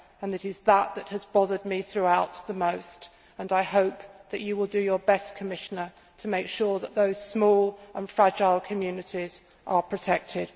It is that that has bothered me throughout the most, and I hope that you will do your best, Commissioner, to make sure that those small and fragile communities are protected.